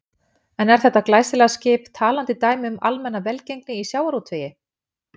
En er þetta glæsilega skip talandi dæmi um almenna velgengni í sjávarútvegi?